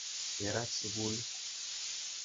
Kerat sukulit.